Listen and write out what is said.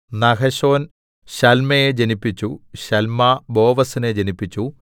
Nahshon ശല്മയെ ജനിപ്പിച്ചു Salma ബോവസിനെ ജനിപ്പിച്ചു